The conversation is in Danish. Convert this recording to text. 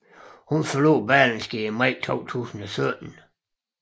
Hun forlod Berlingske i maj 2017